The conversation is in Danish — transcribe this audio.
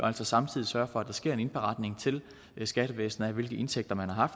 altså samtidig sørges for at der ske en indberetning til skattevæsenet af hvilke indtægter man har